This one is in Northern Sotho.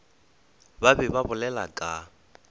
ba be ba bolela ka